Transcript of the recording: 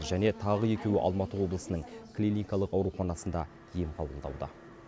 және тағы екеуі алматы облысының клиникалық ауруханасында ем қабылдауда